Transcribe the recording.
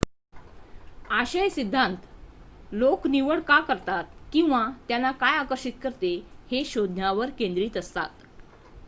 आशय सिद्धांत लोक निवड का करतात किंवा त्यांना काय आकर्षित करते हे शोधण्यावर केंद्रित असतात